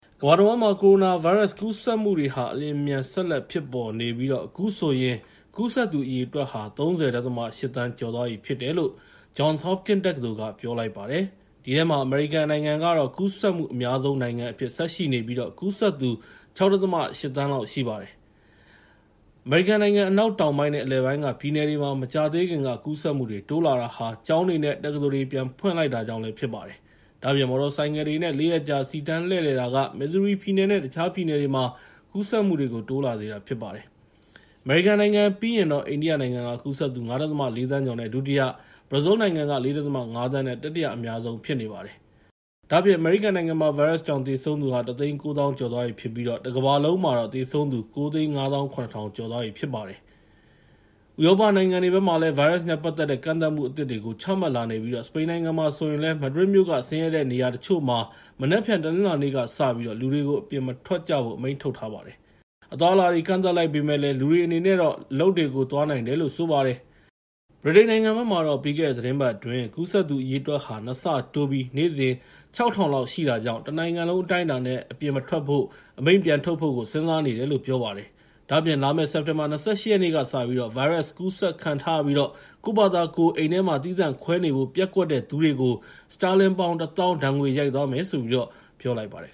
ကမ္ဘာတဝန်းမှာ ကိုရိုနာဗိုင်းရပ်စ် ကူးစက်မှုတွေဟာ အလျင်အမြန် ဆက်လက်ဖြစ်ပေါ်နေပြီး အခုဆိုရင် ကူးစက်သူ အရေအတွက်ဟာ ၃၀.၈ သန်း ကျော်သွားပြီဖြစ်တယ်လို့ Johns Hopkins တက္ကသိုလ်က ပြောလိုက်ပါတယ်။ အဲဒီထဲမှာ အမေရိကန်နိုင်ငံကတော့ ကူးစက်မှု အများဆုံးနိုင်ငံအဖြစ် ဆက်ရှိနေပြီး ကူးစက်သူ ၆.၈ သန်းလောက် ရှိပါတယ်။ အမေရိကန် အနောက်တောင်ပိုင်းနဲ့ အလယ်ပိုင်းက ပြည်နယ်တွေမှာ မကြာသေးခင်က ကူးစက်မှုတွေ တိုးလာတာဟာ ကျောင်းတွေနဲ့ တက္ကသိုလ်တွေ ပြန်ဖွင့်လိုက်တာကြောင့်လည်း ဖြစ်ပါတယ်။ ဒါ့အပြင် မော်တော်ဆိုင်ကယ်တွေနဲ့ ၄ ရက်ကြာ စီတန်းလှည့်လည်တာက မစ်ဇူရီပြည်နယ်နဲ့ တခြားပြည်နယ်တွေမှာ ကူးစက်မှုတွေ တိုးလာစေတာ ဖြစ်ပါတယ်။ အမေရိကန်နိုင်ငံပြီးရင်တော့ အိန္ဒိယနိုင်ငံက ကူးစက်သူ ၅.၄ သန်းကျော်နဲ့ ဒုတိယ၊ ဘရာဇီးလ်က ၄.၅ သန်းနဲ့ တတိယအများဆုံး ဖြစ်ပါတယ်။ ဒါ့အပြင် အမေရိကန်နိုင်ငံမှာ ဗိုင်းရပ်စ်ကြောင့် သေဆုံးသူ ၁၉၀,၀၀၀ ကျော်သွားပြီဖြစ်ပြီး တကမ္ဘာလုံးမှာတော့ သေဆုံးသူ ၉၅၇,၀၀၀ ကျော်သွားပြီဖြစ်ပါတယ်။ ဒါ့အပြင် ဥရောပနိုင်ငံတွေမှာလည်း ဗိုင်းရပ်စ်နဲ့ပတ်သက်တဲ့ ကန့်သတ်မှု အသစ်တွေကို ချမှတ်လာနေပြီး စပိန်နိုင်ငံမှာဆိုရင်လည်း မက်ဒရစ်မြို့က ဆင်းရဲတဲ့နေရာတချို့မှာ မနက်ဖြန် တနင်္လာနေ့ကစပြီး လူတွေကို အပြင်မထွက်ကြဖို့ အမိန့်ထုတ်လိုက်ပါတယ်။ အသွားအလာတွေ ကန့်သတ်လိုက်ပေမယ့်လည်း လူတွေအနေနဲ့ အလုပ်တွေကိုတော့ သွားနိုင်တယ်လို့ ဆိုပါတယ်။ ဗြိတိန်နိုင်ငံမှာတော့ ပြီးခဲ့တဲ့ သီတင်းပတ်အတွင်း ကူးစက်သူ အရေအတွက်ဟာ ၂ ဆတိုးပြီး ၆,၀၀၀ လောက်ရှိခဲ့တာကြောင့် တနိုင်ငံလုံး အတိုင်းအတာနဲ့ လူတွေကို အပြင်မထွက်ဖို့ အမိန့်ကို ပြန်ထုတ်ဖို့ စဉ်းစားနေတယ်လို့ ပြောပါတယ်။ ဒါ့အပြင် လာမယ့် စက်တင်ဘာ ၂၈ ရက်ကစပြီး ဗိုင်းရပ်စ်ကူးစက်ခံထားရပြီး ကိုယ့်ဘာသာကိုယ် အိမ်ထဲမှာ သီးသန့်ခွဲနေဖို့ ပျက်ကွက်တဲ့သူတွေကို စတာလင်ပေါင် ၁၀,၀၀၀ ဒဏ်ငွေရိုက်သွားမယ်လို့ ပြောလိုက်ပါတယ်